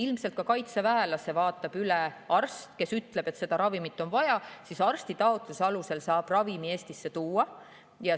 Ilmselt vaatab ka kaitseväelase üle arst, kes ütleb, et seda ravimit on vaja, ja arsti taotluse alusel saab ravimi Eestisse tuua.